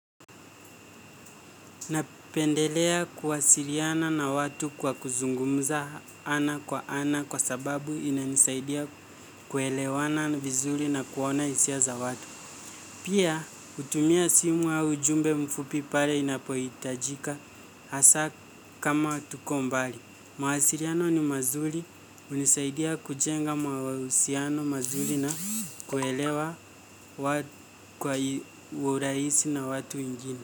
Napendelea kuwasiliana na watu kwa kuzungumuza ana kwa ana kwa sababu inanisaidia kuelewana vizuri na kuona hisia za watu. Pia hutumia simu ya ujumbe mfupi pale inapoyitajika hasa kama tuko mbali. Mawasiriano ni mazuri hunisaidia kujenga mawahusiano mazuri na kuwaelewa wa kwai uraisi na watu wengine.